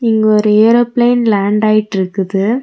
இங்க ஒரு aeroplane land ஆயிட்டிருக்குது.